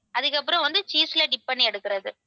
அதுக்கப்புறம் வந்து cheese ல dip பண்ணி எடுக்குறது.